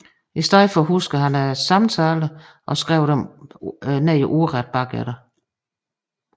I stedet huskede han samtalerne og skrev dem ordret ned bagefter